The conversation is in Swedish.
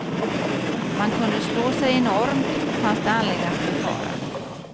Man kunde slå sig enormt, fanns det anledning att befara.